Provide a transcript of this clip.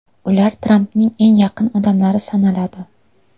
Ular Trampning eng yaqin odamlari sanaladi.